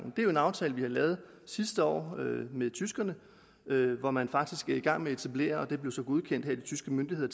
jo en aftale vi lavede sidste år med tyskerne hvor man faktisk er i gang med at etablere det og det blev så godkendt af de tyske myndigheder